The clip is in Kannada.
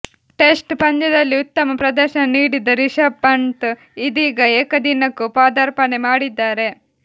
ಟೆಸ್ಟ್ ಪಂದ್ಯದಲ್ಲಿ ಉತ್ತಮ ಪ್ರದರ್ಶನ ನೀಡಿದ ರಿಷಬ್ ಪಂತ್ ಇದೀಗ ಏಕದಿನಕ್ಕೂ ಪಾದಾರ್ಪಣೆ ಮಾಡಿದ್ದಾರೆ